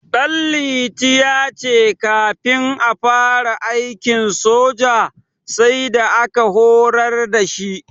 Ɗanliti ya ce kafin ya fara aikin soja, sai da aka horar da shi.